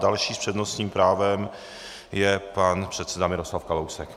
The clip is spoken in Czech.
Další s přednostním právem je pan předseda Miroslav Kalousek.